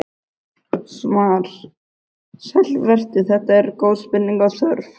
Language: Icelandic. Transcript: Svar: Sæll vertu, þetta eru góð spurning og þörf.